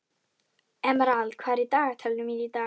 Emerald, hvað er í dagatalinu mínu í dag?